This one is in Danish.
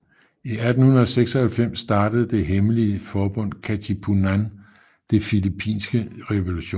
I 1896 startede det hemmelige forbund Katipunan den filippinske revolution